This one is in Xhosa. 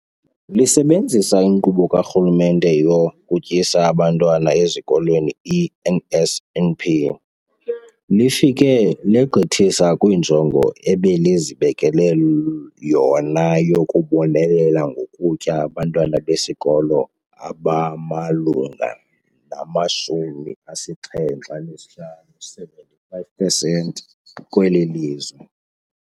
Lisebenzisa iNkqubo kaRhulumente yokuTyisa Abantwana Ezikolweni, i-NSNP, lifike legqithisa kwinjongo ebelizibekele yona yokubonelela ngokutya abantwana besikolo abamalunga nama-75 pesenti kweli lizwe.